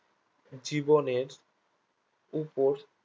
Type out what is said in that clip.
জীবনের উপর